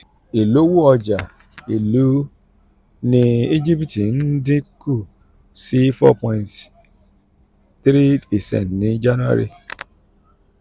ìlówó ọjà ìlú ní íjíbítì ń dín kù sí four point three percent ní january